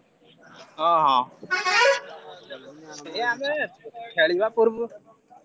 ହଁ ହଁ।